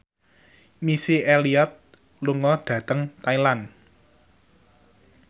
Missy Elliott lunga dhateng Thailand